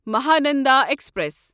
Mahananda express